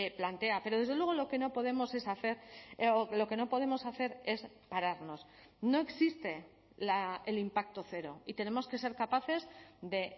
plantea pero desde luego lo que no podemos es hacer lo que no podemos hacer es pararnos no existe el impacto cero y tenemos que ser capaces de